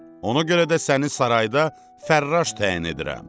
Ona görə də səni sarayda fərraş təyin edirəm.